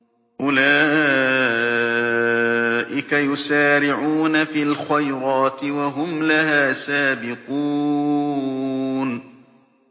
أُولَٰئِكَ يُسَارِعُونَ فِي الْخَيْرَاتِ وَهُمْ لَهَا سَابِقُونَ